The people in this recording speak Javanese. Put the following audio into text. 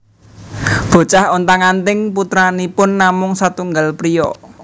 Bocah Ontang anting putranipun namung satunggal priya